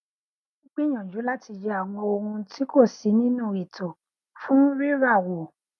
mò n gbìyànjú láti yẹ àwọn ohun tí kò sí nínú ètò fún rírà wo